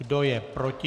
Kdo je proti?